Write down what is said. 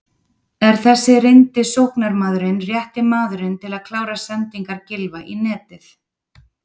Er þessi reyndi sóknarmaðurinn rétti maðurinn til að klára sendingar Gylfa í netið?